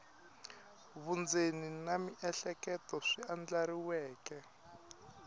vundzeni na miehleketo swi andlariweke